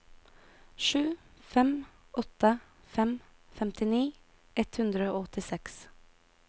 sju fem åtte fem femtini ett hundre og åttiseks